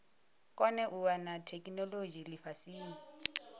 kone u wana theikinolodzhi lifhasini